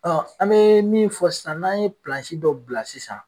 an be min fɔ sisan n'an ye dɔ bila sisan